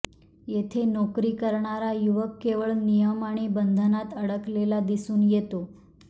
येथे नोकरी करणारा युवक केवळ नियम आणि बंधनात अडकलेला दिसून येतो